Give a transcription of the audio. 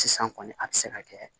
Sisan kɔni a tɛ se ka kɛ